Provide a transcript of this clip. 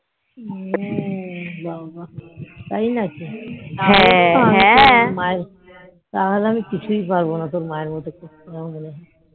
হম বাবা তাই নাকি তাহলে আমি কিছুই পারবো না তোর মা এর মতো করতে